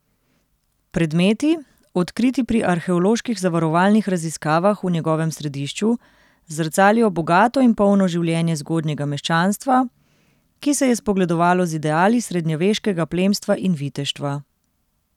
Predmeti, odkriti pri arheoloških zavarovalnih raziskavah v njegovem središču, zrcalijo bogato in polno življenje zgodnjega meščanstva, ki se je spogledovalo z ideali srednjeveškega plemstva in viteštva.